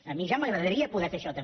a mi ja m’agradaria poder fer això també